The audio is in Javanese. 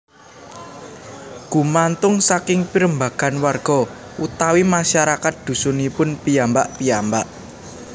Gumantung saking pirembagan warga utawi masyarakat dhusunipun piyambak piyambak